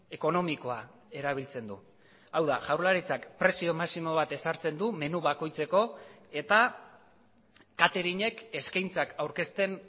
ekonomikoa erabiltzen du hau da jaurlaritzak prezio maximo bat ezartzen du menu bakoitzeko eta katering ek eskaintzak aurkezten